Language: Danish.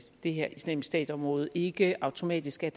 det her islamisk stat område ikke automatisk skal